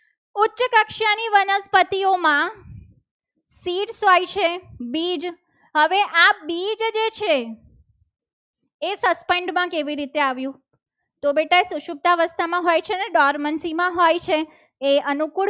જાતિઓમાં શીર્ષ હોય છે. બીજ હવે આ બીજ જે છે. એ suspend માં કેવી રીતે આવ્યું? તો બેટા સુશુ અવસ્થામાં હોય છે. ને ડોરમન સીમા હોય છે. એ અનુકૂળ